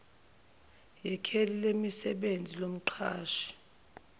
yekheli lasemsebenzini lomqashi